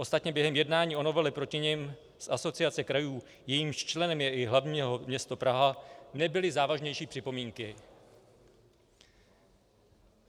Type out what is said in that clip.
Ostatně během jednání o novele proti nim z Asociace krajů, jejímž členem je i hlavní město Praha, nebyly závažnější připomínky.